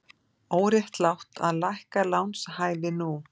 Óréttlátt að lækka lánshæfi nú